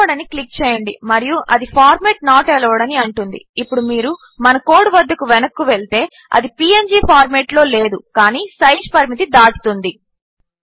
upload అని click చేయండి మరియు అది ఫార్మాట్ నోట్ అలోవెడ్ అని అంటుంది ఇప్పుడు మీరు మన కోడ్ వద్దకు వెనక్కు వెళ్తే అది పీఎన్జీ ఫార్మాట్లో లేదు కాని సైజ్ పరిమితి దాటుతుంది